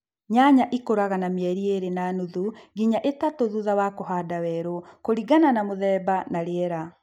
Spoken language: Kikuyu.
Nyanya ikũraga na mieli ĩlĩ na nuthu nginya ĩtatu thutha wa kũhanda werũ kũlingana na mũthemba na rĩela